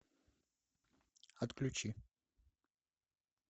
отключи